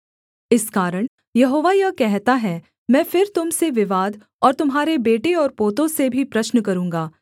इस कारण यहोवा यह कहता है मैं फिर तुम से विवाद और तुम्हारे बेटे और पोतों से भी प्रश्न करूँगा